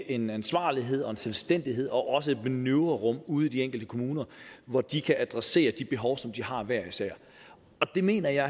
en ansvarlighed og en selvstændighed og også giver et manøvrerum ude i de enkelte kommuner hvor de kan adressere de behov som de har hver især det mener jeg